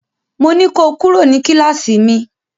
Mo ní ko kúrò ní kíláàsì mi!